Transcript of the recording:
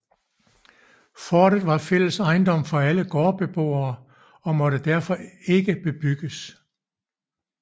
Forten var fælles ejendom for alle gårdboere og måtte derfor ikke bebygges